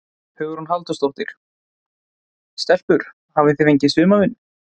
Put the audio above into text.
Hugrún Halldórsdóttir: Stelpur hafið þið fengið sumarvinnu?